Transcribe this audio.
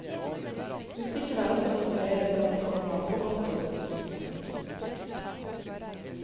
Musikken har også fått bredere plass, komma på godt og ondt. punktum